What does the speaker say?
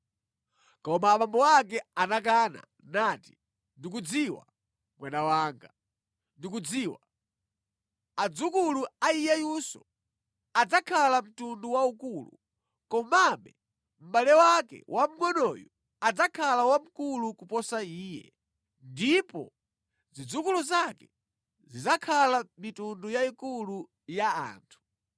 Koma abambo ake anakana nati, “Ndikudziwa, mwana wanga, ndikudziwa. Adzukulu a iyeyunso adzakhala mtundu waukulu. Komabe mʼbale wake wamngʼonoyu adzakhala wamkulu kuposa iye, ndipo zidzukulu zake zidzakhala mitundu yayikulu ya anthu.”